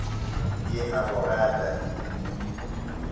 ke a mo rata e